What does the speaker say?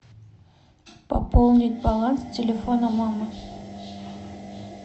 пополнить баланс телефона мамы